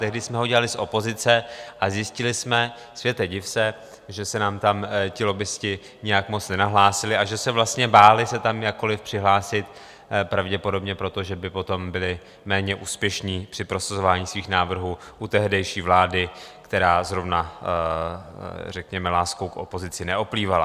Tehdy jsme ho dělali z opozice a zjistili jsme, světe div se, že se nám tam ti lobbisti nějak moc nenahlásili a že se vlastně báli se tam jakkoli přihlásit, pravděpodobně proto, že by potom byli méně úspěšní při prosazování svých návrhů u tehdejší vlády, která zrovna řekněme láskou k opozici neoplývala.